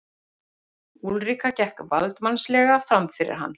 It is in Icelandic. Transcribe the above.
Úlrika gekk valdsmannslega framfyrir hann.